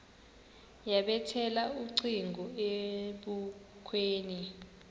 yabethela ucingo ebukhweni